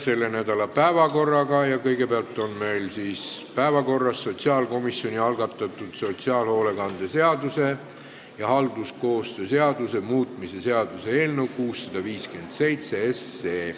Selle nädala päevakorras on meil kõigepealt sotsiaalkomisjoni algatatud sotsiaalhoolekande seaduse ja halduskoostöö seaduse muutmise seaduse eelnõu 657.